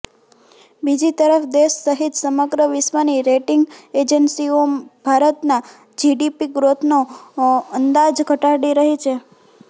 બીજી તરફ દેશ સહીત સમગ્ર વિશ્વની રેટિંગ એજન્સીઓ ભારતના જીડીપી ગ્રોથનો અંદાજ ઘટાડી રહી છે